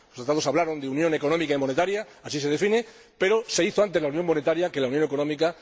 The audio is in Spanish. Los Tratados hablaron de Unión Económica y Monetaria —así se define—, pero se hizo antes la unión monetaria que la unión económica.